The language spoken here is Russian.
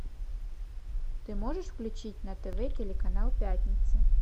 ты можешь включить на тв телеканал пятница